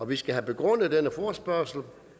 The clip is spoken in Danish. vi skal have begrundet denne forespørgsel